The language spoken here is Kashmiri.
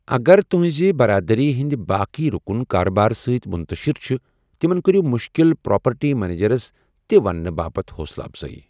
اگر تُہنزِ برادری ہندِ باقیہ رُكُن كاربار سۭتۍ مُنتشِر چھِ ، تِمن كریو مُشكِل پراپرٹی منیجرس تہِ وننہٕ باپت حوصلہٕ افضٲیی۔